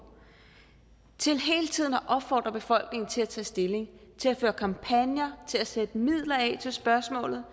til hele tiden at opfordre befolkningen til at tage stilling til at føre kampagner til at sætte midler af til spørgsmålet